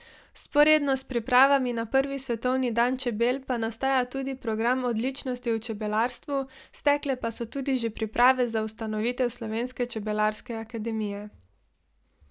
Vzporedno s pripravami na prvi svetovni dan čebel pa nastaja tudi program odličnosti v čebelarstvu, stekle pa so tudi že priprave za ustanovitev slovenske čebelarske akademije.